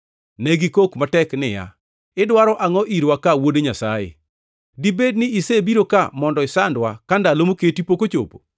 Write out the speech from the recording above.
Ne gikok matek niya, “Idwaro angʼo irwa ka, Wuod Nyasaye? Dibed ni isebiro ka mondo isandwa ka ndalo moketi pok ochopo?”